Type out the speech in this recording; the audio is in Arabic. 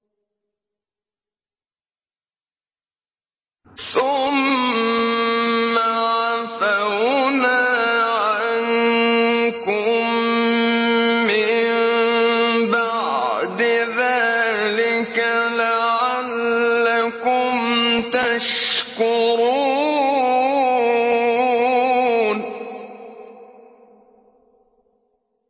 ثُمَّ عَفَوْنَا عَنكُم مِّن بَعْدِ ذَٰلِكَ لَعَلَّكُمْ تَشْكُرُونَ